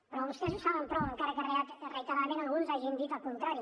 però vostès ho saben prou encara que reiteradament alguns hagin dit el contrari